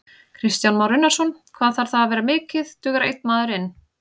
Kristján Már Unnarsson: Hvað þarf það að vera mikið, dugar einn maður inn?